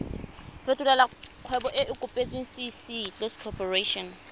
fetolela kgwebo e e kopetswengcc